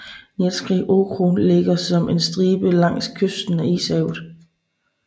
Nenetskij okrug ligger som en stribe langs kysten af Ishavet